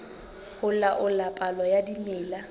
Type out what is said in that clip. ho laola palo ya dimela